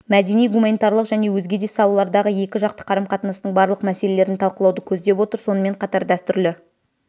мәдени-гуманитарлық және өзгеде салалардағы екі жақты қарым-қатынастың барлық мәселелерін талқылауды көздеп отыр сонымен қатар дәстүрлі